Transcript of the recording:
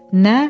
Nə?